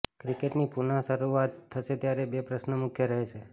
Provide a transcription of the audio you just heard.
ક્રિકેટની પુનઃ શરૂઆત થશે ત્યારે બે પ્રશ્નો મુખ્ય રહેશે